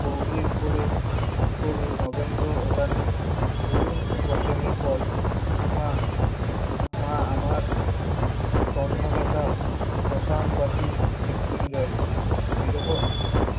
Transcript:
পৌহির কোলে তোলে নগেন্দ্র রানী পুরুন বচনে কয় ওমা মা আমার তন্ন লতা শশ্মান বাসী মৃত্যুঞ্জয় বিরহ